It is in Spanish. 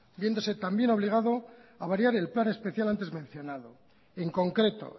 viéndose también obligado a variar el plan especial antes mencionado en concreto